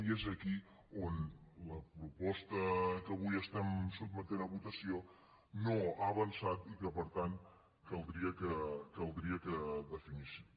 i és aquí on la proposta que avui estem sotmetent a votació no ha avançat i per tant caldria que definíssim